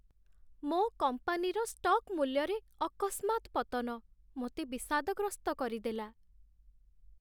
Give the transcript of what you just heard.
ମୋ କମ୍ପାନୀର ଷ୍ଟକ୍ ମୂଲ୍ୟରେ ଅକସ୍ମାତ୍ ପତନ ମୋତେ ବିଷାଦଗ୍ରସ୍ତ କରିଦେଲା।